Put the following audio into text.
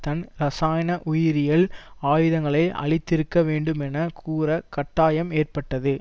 தன் இராசயன உயிரியல் ஆயுதங்களை அழித்திருக்க வேண்டும் என கூற கட்டாயம் ஏற்பட்டது